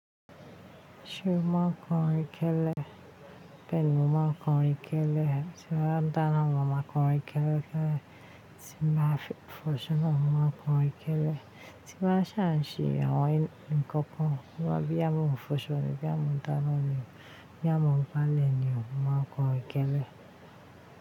Ṣé mo máa ń kọ orin kẹlẹ? Bẹ́ẹ̀ni, mo máa ń kọ orin kẹlẹ. Ti mo bá n dána mo máa máa kọrin kẹlẹ kẹlẹ? Ti n ba fọṣọ naa mo máa kọ orin kẹlẹ. Ti báa ṣàǹṣè àwọn nǹkan kan, bí ya mo n fọṣọ ní bí mo n dána nì, bí ya mo ń gbálẹ̀ nì, mo máa n kọrin kẹlẹ.